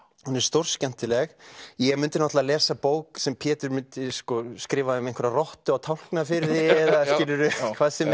hún er stórskemmtileg ég mundi náttúrulega lesa bók sem Pétur myndi skrifa um einhverja rottu á Tálknafirði eða skilurðu hvað sem